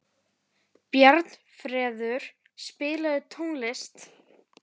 Bjarnfreður, spilaðu tónlist.